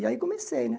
E aí comecei, né?